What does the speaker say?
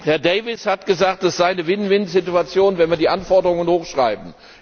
Herr Davies hat gesagt, das sei eine Win win Situation, wenn wir die Anforderungen hochschreiben.